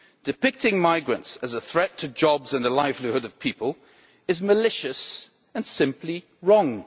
depicting migrants as a threat to jobs and the livelihood of people, is malicious and simply wrong.